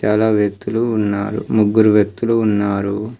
చాలా వ్యక్తులు ఉన్నారు ముగ్గురు వ్యక్తులు ఉన్నారు.